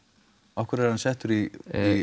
af hverju er hann settur í